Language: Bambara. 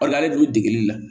Ola hali dugu degeli la